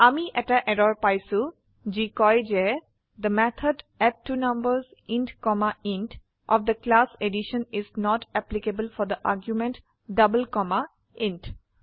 আমি এটা এৰৰ পাইছো যি কয় যে the method add two numbers int comma int of the class addition is not applicable for the argument double comma int